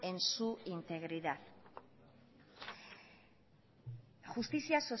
en su integridad justizia